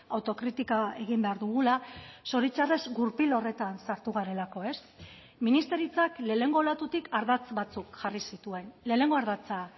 autokritika egin behar dugula zoritxarrez gurpil horretan sartu garelako ez ministeritzak lehenengo olatutik ardatz bat jarri zituen lehenengo ardatza